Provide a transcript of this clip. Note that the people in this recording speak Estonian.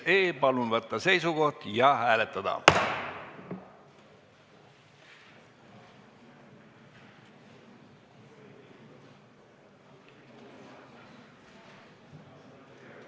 Palun võtta seisukoht ja hääletada!